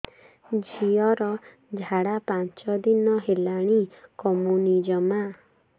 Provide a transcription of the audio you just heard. ଝିଅର ଝାଡା ପାଞ୍ଚ ଦିନ ହେଲାଣି କମୁନି ଜମା